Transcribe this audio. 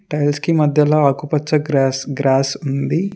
Tiles కి మధ్యలో ఆకుపచ్చ గ్రాస్ గ్రాస్ ఉంది.